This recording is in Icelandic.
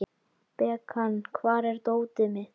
Bekan, hvar er dótið mitt?